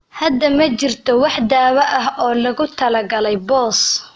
Hadda ma jirto wax daawo ah oo loogu talagalay BOS.